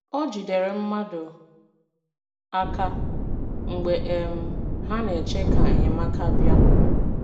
O jidere mmadụ aka mgbe um ha na-eche ka enyemaka bịa